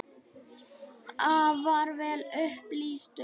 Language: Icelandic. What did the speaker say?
Afar vel upplýstur.